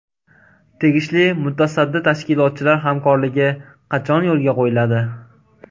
Tegishli mutasaddi tashkilotlar hamkorligi qachon yo‘lga qo‘yiladi?